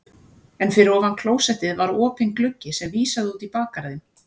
En fyrir ofan klósettið var opinn gluggi sem vísaði út í bakgarðinn.